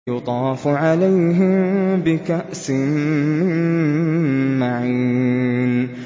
يُطَافُ عَلَيْهِم بِكَأْسٍ مِّن مَّعِينٍ